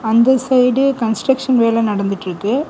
இந்த side construction வேல நடந்துட்ருக்கு.